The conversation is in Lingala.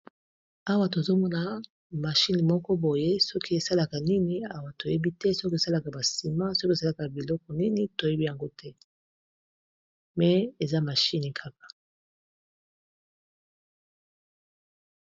Awa tozomona mashine moko boye soki esalaka nini awa toyebi te soki esalaka ba ciment soki esalaka biloko nini toyebi yango te mais eza mashine kaka.